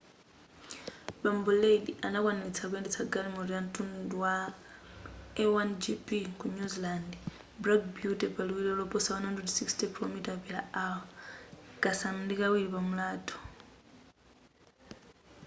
bambo reid anakwanilitsa kuyendetsa galimoto ya mtundu wa a1gp ku new zealand black beauty pa liwiro loposa 160km/h kasanu ndi kawiri pa mulatho